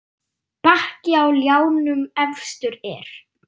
Bakki á ljánum efstur er.